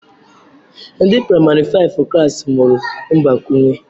Ndi praịmarị faịfụ klassị mụrụ mgbakwụnye